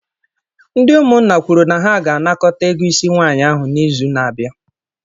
Ndị umunna kwuru na ha ga-anakọta ego Ịsị nwanyi ahụ n'izu na-abịa.